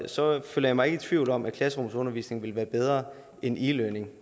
så føler jeg mig ikke i tvivl om at klasserumsundervisning ville være bedre end e learning